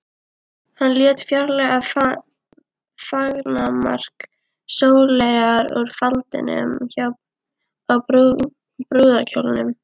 Hann lét fjarlægja fangamark Sóleyjar úr faldinum á brúðarkjólnum.